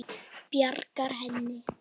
Bjarga henni?